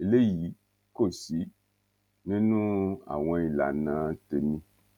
eléyìí kò sí nínú àwọn ìlànà tèmi